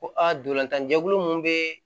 Ko a ntolan tan jɛkulu mun bɛ